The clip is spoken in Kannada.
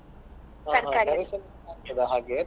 ಅಲಸಂಡೆ ಆಗ್ತಾದ ಹಾಗೆ?